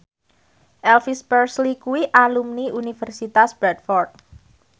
Elvis Presley kuwi alumni Universitas Bradford